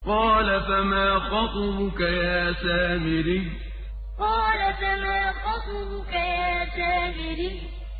قَالَ فَمَا خَطْبُكَ يَا سَامِرِيُّ قَالَ فَمَا خَطْبُكَ يَا سَامِرِيُّ